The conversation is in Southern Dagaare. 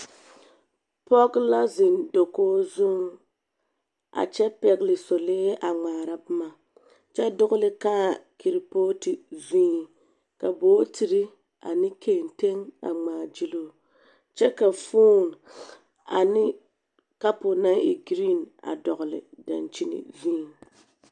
pɔge la zeŋ dakogi zuŋ a kyɛ pɛgele solee a ŋmaara boma kyɛ dogele kãã keripooti zuŋ ka bootiri ane kenteŋ a ŋmaa gyili o. Kyɛ ka fooni ane kapo naŋ e giriiŋ dɔgele daŋkyini zu.